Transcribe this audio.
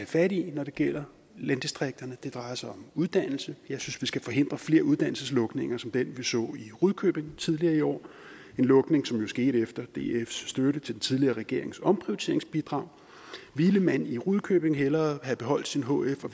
fat i når det gælder landdistrikterne det drejer sig om uddannelse jeg synes skal forhindre flere uddannelseslukninger som den vi så i rudkøbing tidligere i år en lukning som jo skete efter dfs støtte til den tidligere regerings omprioriteringsbidrag ville man i rudkøbing hellere have beholdt sin hf og